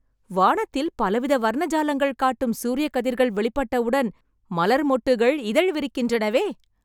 வானத்தில் பலவித வர்ணஜாலங்கள் காட்டும் சூரியக் கதிர்கள் வெளிப்பட்டவுடன், மலர் மொட்டுகள் இதழ் விரிக்கின்றனவே...